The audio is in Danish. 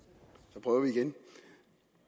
så prøver vi igen